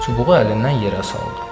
Çubuğu əlindən yerə saldı.